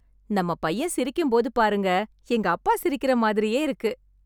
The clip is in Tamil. நம்ம பையன் சிரிக்கும் போது பாருங்க, எங்க அப்பா சிரிக்கிற மாதிரியே இருக்கு.